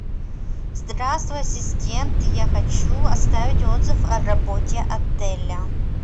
здравствуй ассистент я хочу оставить отзыв о работе отеля